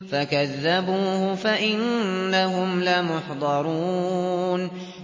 فَكَذَّبُوهُ فَإِنَّهُمْ لَمُحْضَرُونَ